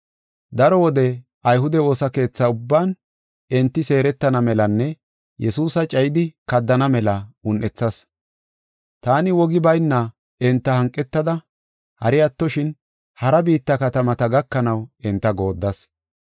Daro wode ayhude woosa keethaa ubban enti seeretana melanne Yesuusa cayidi kaddana mela un7ethas. Taani wogi bayna enta hanqetada hari attoshin, hara biitta katamata gakanaw enta gooddas.